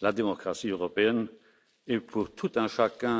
la démocratie européenne est pour tout un chacun